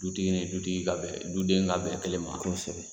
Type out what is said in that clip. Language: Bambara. Dutigi ni dutigi ka bɛn duden ka bɛn kelen ma. Kosɛbɛ.